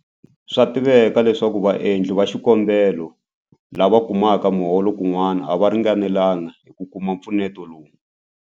Swa tiveka leswaku vaendli va xikombelo lava kumaka miholo kun'wana a va ringanelanga hi ku kuma mpfuneto lowu.